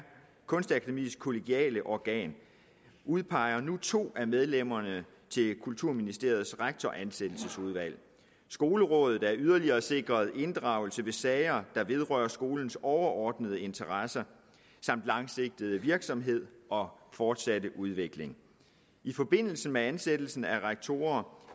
kunstakademiets kollegiale organ udpeger nu to af medlemmerne til kulturministeriets rektoransættelsesudvalg skolerådet er yderligere sikret inddragelse ved sager der vedrører skolens overordnede interesser langsigtede virksomhed og fortsatte udvikling i forbindelse med ansættelsen af rektorer